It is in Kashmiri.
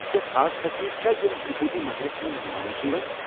کٮ۪نٛہہ خاص تقریٖبہ چھا، یم تِروُپتی منٛدرس منٛز مناونہٕ یوان چھےٚ ؟